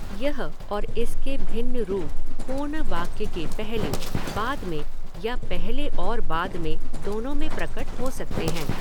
यह और इसके भिन्न रूप पूर्ण वाक्य के पहले, बाद में या पहले और बाद में, दोनों में प्रकट हो सकते हैं।